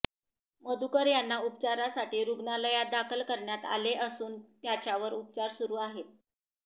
मधुकर यांना उपचारासाठी रुग्णालयात दाखल करण्यात आले असून त्याच्यावर उपचार सुरू आहे